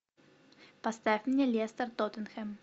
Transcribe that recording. поставь мне лестер тоттенхэм